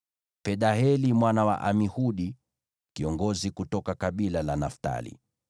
Pedaheli mwana wa Amihudi, kiongozi kutoka kabila la Naftali.”